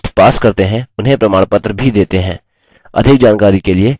* जो online test pass करते हैं उन्हें प्रमाणपत्र भी देते हैं